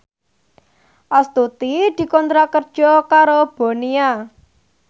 Astuti dikontrak kerja karo Bonia